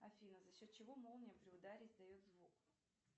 афина за счет чего молния при ударе издает звук